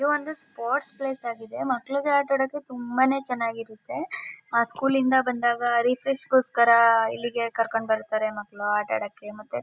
ಇವು ಅಂದ್ರೆ sports place ಆಗಿರುತ್ತೆ ಮಕ್ಕ್ಕಳಿಗೆ ಅಟಆಡೋಕೆ ತುಂಬಾನೇ ಚೆನ್ನ್ನಾಗಿರುತ್ತೆ ಆ ಸ್ಕೂಲ್ ಇಂದ ಬಂದಾಗ ರಿಫ್ರೆಶ್ಗೋಸ್ಕರ ಇಲ್ಲಿಗೆ ಕರ್ಕೊಂಡ್ ಬರ್ತರೆ ಮಕ್ಕಳು ಆಟ ಆಡೋಕೆ ಮತ್ತು--